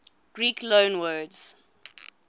greek loanwords